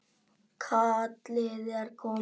Kallið er komið